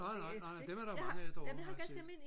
nej nej nej nej dem er der mange af derovre har jeg set